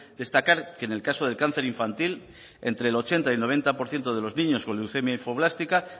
destacar que en el caso del cáncer infantil entre el ochenta y el noventa por ciento de los niños con leucemia linfoblástica